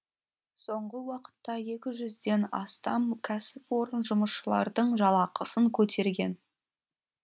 соңғы уақытта екі жүзден астам кәсіпорын жұмысшылардың жалақысын көтерген